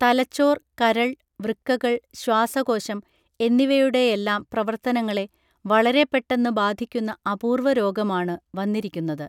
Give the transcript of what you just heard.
തലച്ചോർ കരൾ വൃക്കകൾ ശ്വാസകോശം എന്നിവയുടെയെല്ലാം പ്രവർത്തനങ്ങളെ വളരെ പെട്ടെന്നു ബാധിക്കുന്ന അപൂർവ രോഗമാണു വന്നിരിക്കുന്നത്